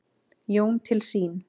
Jón til sín.